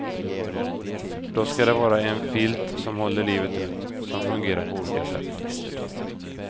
Då skall det vara en filt som håller livet ut, som fungerar på olika sätt.